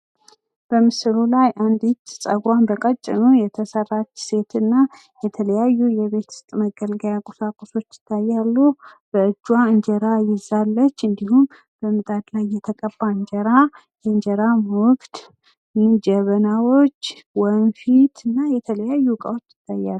በምስሉ ላይ አንዲት የጸጉሯን በቀጭኑ የተሰራች ሴት እና የተለያዩ የቤት ውስጥ መገልገያ ቁሳቁሶች ይታያሉ። በእጇ እንጀራ ይዛለች እንዲሁም በምጣዱ ላይ የተቀባ እንጀራ የ እንጀራ ሞግድ፣ ጀበና ፣ ወንፊት እና ሌሎች እቃወችም ይታያሉ።